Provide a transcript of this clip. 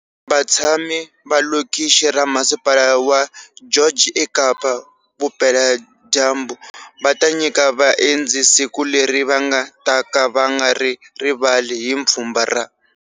Vatshami va lokixi ra masipala wa George eKapa-Vupeladyambu va ta nyika vaendzi siku leri va nga taka va nga ri ri vali hi pfhumba ra.